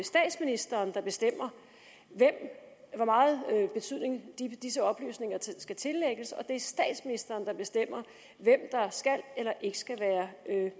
statsministeren der bestemmer hvor meget betydning disse oplysninger skal tillægges og det er statsministeren der bestemmer hvem der skal eller ikke skal være